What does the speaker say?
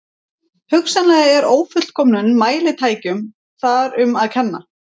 Hugsanlega er ófullkomnum mælitækjum þar um að kenna.